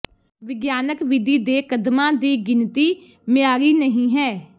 ਵਿਗਿਆਨਕ ਵਿਧੀ ਦੇ ਕਦਮਾਂ ਦੀ ਗਿਣਤੀ ਮਿਆਰੀ ਨਹੀਂ ਹੈ